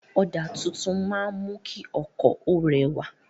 Ọ̀dà tuntun máa ń mú kí ọkọ̀ ó rẹwà.